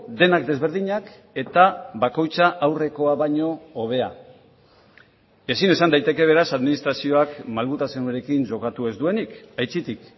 denak desberdinak eta bakoitza aurrekoa baino hobea ezin esan daiteke beraz administrazioakmalgutasunarekin jokatu ez duenik aitzitik